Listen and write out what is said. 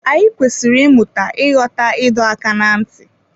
Anyị kwesịrị ịmụta ịghọta ịdọ aka ná ntị